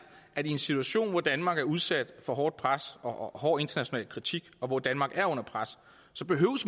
at i en situation hvor danmark er udsat for hårdt pres og hård international kritik og hvor danmark er under pres så behøver